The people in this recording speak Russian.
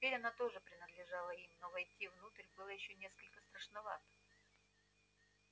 теперь она тоже принадлежала им но войти внутрь было ещё несколько страшновато